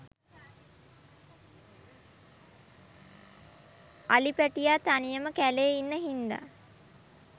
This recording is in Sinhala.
අලි පැටියා තනියම කැලේ ඉන්න හින්දා